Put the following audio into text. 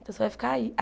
Então você vai ficar aí.